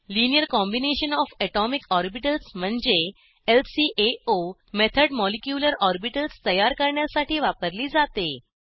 linear combination O F atomic orbitals म्हणजे LCAO method molecular orbitals तयार करण्यासाठी वापरली जाते